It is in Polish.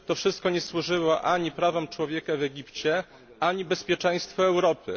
To wszystko nie służyło ani prawom człowieka w Egipcie, ani bezpieczeństwu Europy.